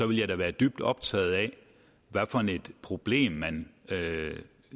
ville jeg da være dybt optaget af hvilket problem man